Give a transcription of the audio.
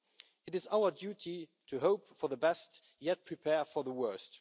It is our duty to hope for the best, yet prepare for the worst.